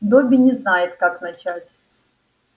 добби не знает как начать